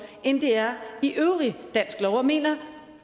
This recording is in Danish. end det er i øvrig dansk lov og mener